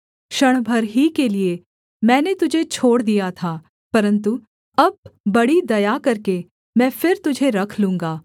क्षण भर ही के लिये मैंने तुझे छोड़ दिया था परन्तु अब बड़ी दया करके मैं फिर तुझे रख लूँगा